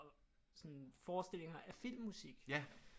Sådan forestillinger af filmmusik